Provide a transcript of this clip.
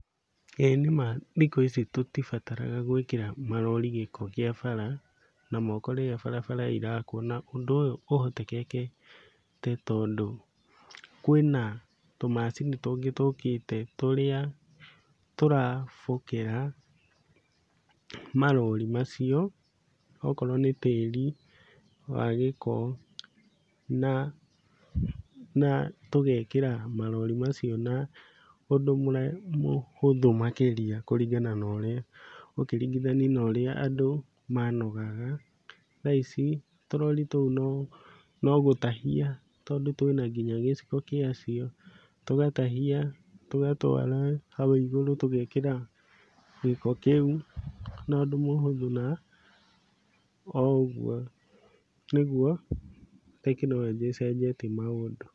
Ĩĩ nĩma thikũ ici tũtibataraga gwĩkĩra marori gĩko kĩa bara na moko rĩrĩa barabara irakwo, na ũndũ ũyũ ũhotekekete, tondũ kwĩna tũmacini tũngĩ tũkĩte tũrĩa tũrabokera marori macio, okorwo nĩ tĩri wa gĩko, na na tũgekĩra marori macio na ũndũ mũhũthũ makĩria kũringana na ũrĩa, ũkĩringithania na ũrĩa andũ manogaga, thaa ici tũrori tũu no no gũtahia, tondũ twĩ na nginya gĩciko gĩacio, tũgatahia tũgatwara hau igũrũ, tũgekĩra gĩko kĩu na ũndũ mũhũthũ na oũguo nĩguo tekinoronjĩ ĩcenjetie maũndũ.